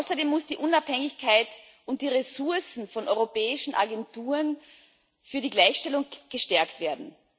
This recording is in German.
Außerdem müssen die Unabhängigkeit und die Ressourcen von europäischen Agenturen für die Gleichstellung gestärkt werden.